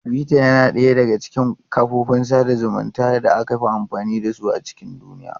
Twitter yana ɗaya daga cikin kafofin sada zumunci da aka fi amfani da su a cikin duniya.